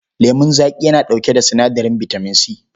Lemun zaƙi yana ɗauke da sinadarin bitamin C.